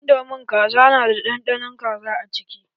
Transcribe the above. Indomin Kaza na da ɗanɗanon kaza a ciki